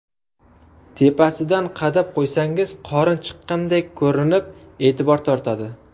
Tepasidan qadab qo‘ysangiz, qorin chiqqandek ko‘rinib, e’tibor tortadi.